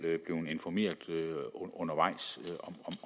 blevet informeret undervejs